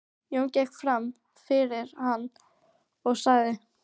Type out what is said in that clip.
Jón gekk fram fyrir hann og sagði